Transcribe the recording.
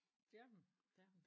Det er hun det er hun